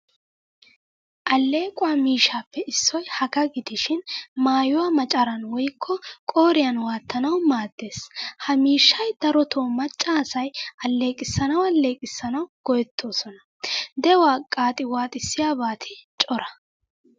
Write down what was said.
Allequwaa miishshappe issoy hagaa gidishin maayuwaa maccaran woykko qooriyan wattanawu maaddees. Ha miishshay daroto macca asaay alleeqisanawu alleqisanawu go'ettoosona. De'uwaa qaxiwatissiyabati cora.